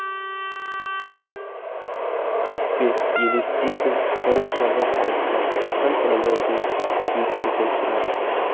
кіріспеелестейді шойын шарбақ алыстан һәм трамвайдың жөйткіген шырағы